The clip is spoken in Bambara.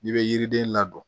N'i bɛ yiriden ladon